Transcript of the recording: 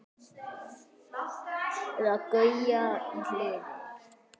Eða Gauja í Hliði!